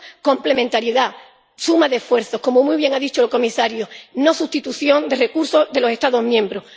Complementariedad necesitamos suma de esfuerzos, como muy bien ha dicho el comisario, no sustitución de recursos de los Estados miembros.